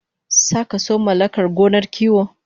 Sakaso mallakar gonar kiwo